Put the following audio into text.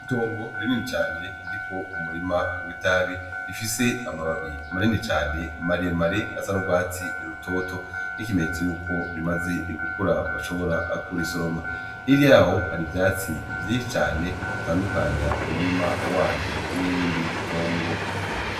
Itongo rinini cane ririko umurima w'itabi, rifise amababi manini cane maremare asa n'urwatsi rutoto nk'ikimenyetso cuko rimaze gukura, bashobora kurisoroma. Hirya y'aho hari ivyatsi vyinshi cane bitandukanya umurima waryo n'irindi tongo.